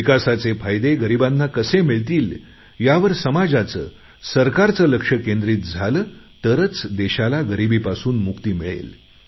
विकासाचे फायदे गरिबांना कसे मिळतील यावर समाजाचेसरकारचेलक्ष केंद्रित झालं तरच देशाला गरिबीपासून मुक्ती मिळेल